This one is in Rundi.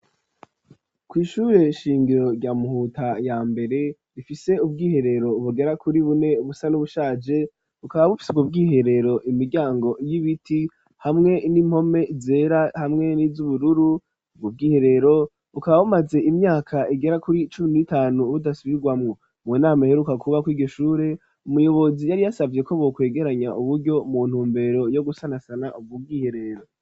Kw'ishure shingiro rya Muhuta ya mbere, rifise ubwiherero bugera kuri bune busa n'ubushaje, bukaba bupfise ubw'iherero, imiryango y'ibiti, hamwe n'impome zera, hamwe niz'ubururu, ubw'iherero bukaba bumaze imyaka igera kuri icumi n'itanu budasubirwamwo, mu nama iheruka kuba kuri iryo shure, umuyobozi yari yasabye ko bokwegeranya uburyo mu ntumbero yo gusanasana ubwo bw'iherero.